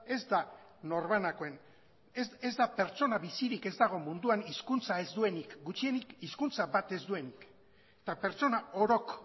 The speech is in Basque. ez da norbanakoen ez da pertsona bizirik ez dago munduan hizkuntza ez duenik gutxienik hizkuntza bat ez duenik eta pertsona orok